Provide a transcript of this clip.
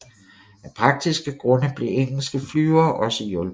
Af praktiske grunde blev engelske flyvere også hjulpet